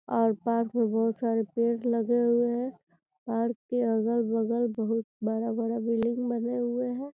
और पार्क में बहोत सारे पेड़ लगे हुए हैं पार्क के अगल-बगल बहोत बड़ा-बड़ा बिल्डिंग बने हुए हैं।